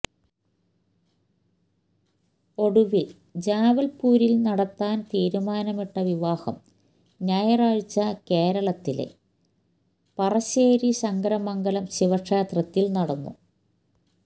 ഒടുവിൽ ജ്വാൽപൂരിൽ നടത്താൻ തീരുമാനിട്ട വിവാഹം ഞയറാഴ്ച കേരളത്തിലെ പറശ്ശേരി ശങ്കരമംഗലം ശിവക്ഷേത്രത്തിൽ നടന്നു